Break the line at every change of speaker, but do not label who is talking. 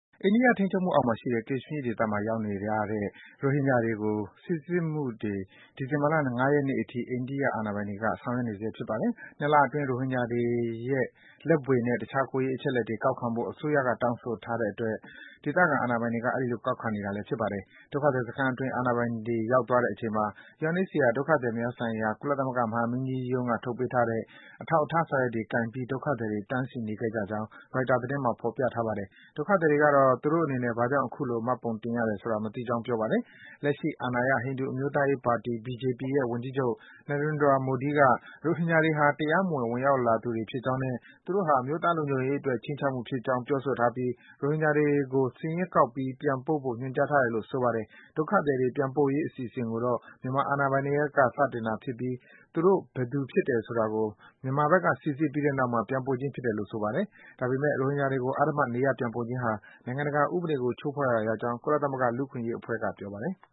အိန္ဒိယထိန်းချုပ်မှုအောက်မှာရှိတဲ့ Kashmir ဒေသမှာ ရောက်နေကြတဲ့ ရိုဟင်ဂျာတွေကို စိစစ်မှုတွေကို ဒီဇင်ဘာလ ၅ ရက်နေ့ကနေ အခုအထိ အိန္ဒိယ အာဏာပိုင်တွေ ဆောင်ရွက်နေဆဲ ဖြစ်ပါတယ်။ ၂ လအတွင်း ရိုဟင်ဂျာတွေရဲ့ လက်ဗွေနဲ့ တခြား ကိုယ်ရေးအချက်အလက်တွေ ကောက်ခံဖို့ အစိုးရက တောင်းဆိုတဲ့အတွက် ဒေသခံ အာဏာပိုင်တွေဘက်က အဲဒီလို ကောက်ခံခဲ့တာလည်း ဖြစ်ပါတယ်။ ဒုက္ခသည်စခန်းအတွင်း အာဏာပိုင်တွေ ရောက်သွားတဲ့အချိန်မှာ UNHCR ဒုက္ခသည်များဆိုင်ရာ ကုလသမဂ္ဂ မဟာမင်းကြီးရုံးက ထုတ်ပေးထားတဲ့ အထောက်အထား စာရွက်တွေ ကိုင်ပြီး ဒုက္ခသည်တွေက တန်းစီနေခဲ့ကြကြောင်း ရိုက်တာ သတင်းမှာ ဖော်ပြထားပါတယ်။ ဒုက္ခသည်တွေ ကတော့ သူတို့အနေနဲ့ ဘာကြောင့် အခုလို မှတ်ပုံတင်ရတယ်ဆိုတာ မသိကြောင်း ပြောကြပါတယ်။ လက်ရှိအာဏာရ ဟိန္ဒူအမျိုးသားရေးပါတီ BJP ရဲ့ ဝန်ကြီးချုပ် Narendra Modi က ရိုဟင်ဂျာတွေ ဟာ တရားမဝင် ဝင်ရောက်လာသူတွေဖြစ်ကြောင်းနဲ့ သူတို့ဟာ အမျိုးသားလုံခြုံရေးအတွက် ခြိမ်းခြောက်မှုဖြစ်ကြောင်း ပြောဆိုထားပြီး ရိုဟင်ဂျာတွေကို စာရင်းကောက်ပြီး ပြန်ပို့ဖို့ ညွန်ကြားထား တယ်လို့ ဆိုပါတယ်။ ဒုက္ခသည်တွေ ပြန်ပို့ရေး အစီအစဉ်ကိုတော့ မြန်မာဘက်က စတင်တာဖြစ်ပြီး သူတို့ ဘယ်သူ ဖြစ်တယ်ဆိုတာကို မြန်မာဘက်က စိစစ်ပြီးတဲ့နောက်မှာ ပြန်ပို့ခြင်းဖြစ်တယ်လို့ ဆိုပါတယ်။ ဒါပေမယ့် ရိုဟင်ဂျာတွေကို အဓမ္မ နေရပ်ပြန်ပို့ခြင်းဟာ နိုင်ငံတကာဥပဒေကို ချိုးဖောက်ရာ ရောက် ကြောင်း ကုလသမဂ္ဂ လူ့အခွင့်အရေးအဖွဲ့က ပြောပါတယ်။